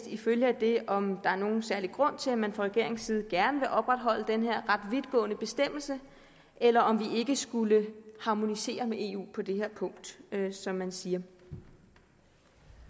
en følge af det om der er nogen særlig grund til at man fra regeringens side gerne vil opretholde den her ret vidtgående bestemmelse eller om vi ikke skulle harmonisere med eu på det her punkt som man siger